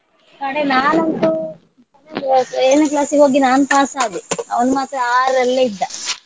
ಕಡೆ ನಾನಂತೂ seventh ಏಳನೇ class ಗೆ ಹೋಗಿ ನಾನ್ pass ಆದೆ ಅವನ್ ಮಾತ್ರ ಆರಲ್ಲೇ ಇದ್ದ.